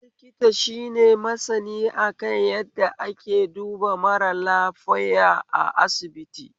Likita shine masani akan yadda ake duba mara lafoiya a asibiti